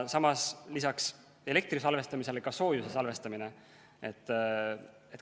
Samas, peale elektri salvestamise on ka soojuse salvestamine.